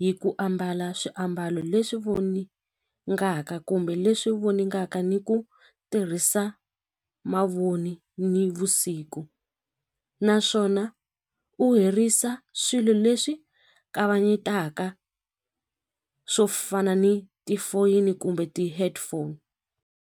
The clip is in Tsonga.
hi ku ambala swiambalo leswi voningaka kumbe leswi voningaka ni ku tirhisa mavoni nivusiku naswona u herisa swilo leswi kavanyetaka swo fana ni tifoyini kumbe ti-headphone.